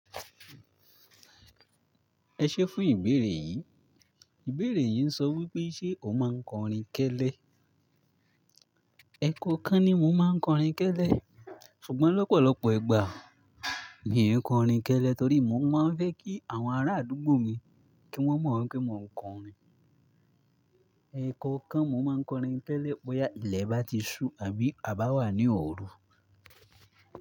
Ẹ ṣé fún ìbéèrè yìí. Ìbéèrè yìí ń sọ wípé ṣe o máa ń kọrin kẹ́lẹ́? Ẹ̀kọ̀ kan ni mo máa ń kọrin kẹ́lẹ́. Ṣùgbọ́n lọ́pọ̀lọpọ̀ ìgbà, mi ò kọrin kẹ́lẹ́ torí mo máa ń fẹ́ kí àwọn ará àdúgbò mi kí wọ́n mọ̀ wípé mo ń kọrin. Ẹ̀kọ̀ kan mo máa ń kọrin kẹ́lẹ́ bóyá ilẹ̀ bá ti ṣú àbí a bá wà ní òru.